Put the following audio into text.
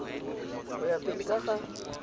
go ya pele ka ga